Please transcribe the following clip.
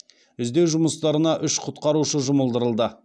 іздеу жұмыстарына уш құтқарушы жұмылдырылды